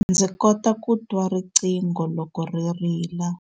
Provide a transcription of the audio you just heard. Ndzi kota ku twa riqingho loko ri rila.